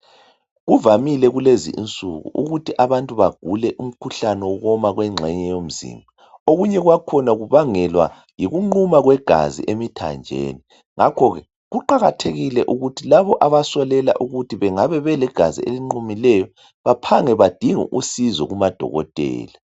Kuvamile kulezi insuku ukuthi abantu bagule umkhuhlane wokuwona kwegxenye womzimba okunye kwakhona kubangelwa yingquma kwebizo emzimbeni emithanjeni ngakho ke kuqakathekile ukuthi labo abasolela ukuthi bengabe belegazi elingqumileyo baphange badinge usizo kubo dokotela